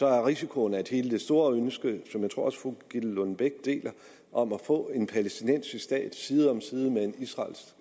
er risikoen at hele det store ønske som jeg også tror fru gitte lillelund bech deler om at få en palæstinensisk stat side om side med en